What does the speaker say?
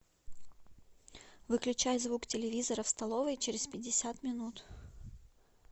выключай звук телевизора в столовой через пятьдесят минут